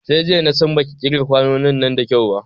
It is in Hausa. Sai jiya na san baki ƙirga kwanonin nan da kyau ba